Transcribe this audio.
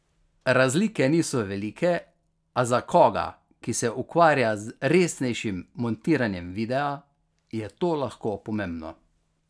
Razlike niso velike, a za koga, ki se ukvarja z resnejšim montiranjem videa, je to lahko pomembno.